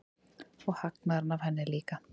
Og hagnaðurinn af henni líka.